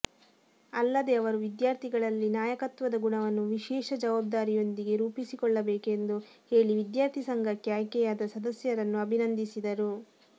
ಅಲ್ಲದೆ ಅವರು ವಿದ್ಯಾರ್ಥಿಗಳಲ್ಲಿ ನಾಯಕತ್ವದ ಗುಣವನ್ನು ವಿಶೇಷ ಜವಾಬ್ದಾರಿಯೊಂದಿಗೆ ರೂಪಿಸಿಕೊಳ್ಳಬೇಕೆಂದು ಹೇಳಿ ವಿದ್ಯಾರ್ಥಿ ಸಂಘಕ್ಕೆ ಆಯ್ಕೆಯಾದ ಸದಸ್ಯರನ್ನು ಅಭಿನಂದಿಸಿದರು